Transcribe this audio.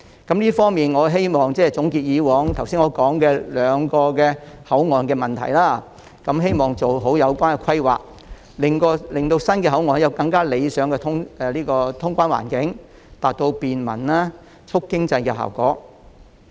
但願在總結剛才提到過往在兩個口岸出現的問題後，政府可做好相關規劃，令新口岸有更加理想的通關環境，達到便民及促進經濟的效果。